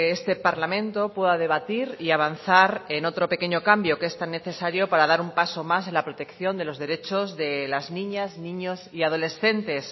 este parlamento pueda debatir y avanzar en otro pequeño cambio que es tan necesario para dar un paso más en la protección de los derechos de las niñas niños y adolescentes